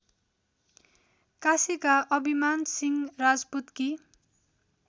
काशीका अभिमानसिंह राजपुतकी